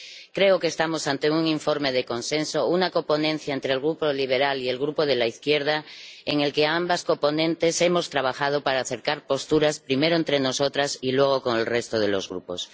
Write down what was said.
Creo que estamos ante un informe de consenso, una coponencia entre el Grupo ALDE y el Grupo GUE NGL en la que ambas coponentes hemos trabajado para acercar posturas, primero, entre nosotras y, luego, con el resto de los grupos.